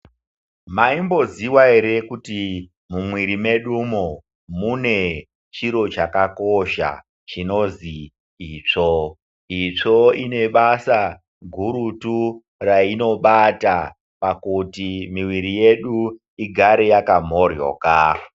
Maimbo zivaere kuti mumwirimedumo mune chiro chakakosha chinozwi itsvo. Itsvo inebasa gurutu rainobata pakuti miviri yedu igare yakamhoryoka.